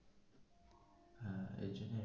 এর জন্যই.